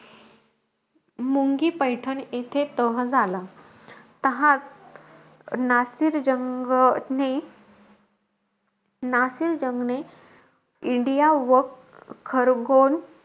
मुंगी-पैठण येथे तह झाला. तहात नासिर जंगने नासिर जंगने, इंडिया व खरगोण,